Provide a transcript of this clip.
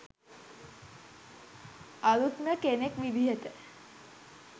අලුත්ම කෙනෙක් විදියට